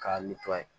K'a